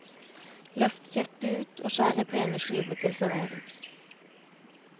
Løft kjøttet ut og skjær i pene skiver til servering.